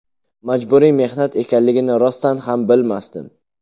Majburiy mehnat ekanligini rostdan ham bilmasdim.